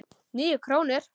Níu krónur?